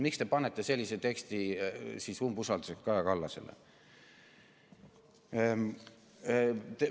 Miks te seote selle umbusaldusega Kaja Kallasele?